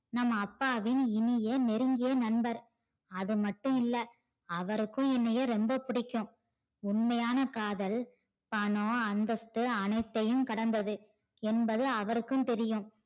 நம்ம அப்பாவின் இனிய நெருங்கிய நண்பன் அது மட்டும் இல்ல அவருக்கு என்னைய ரொம்ம பிடிக்கும் உண்மையான காதல் பணம் அந்தஸ்த்து அனைத்தையும் கடந்தது என்பது அவருக்கும் தெரியும்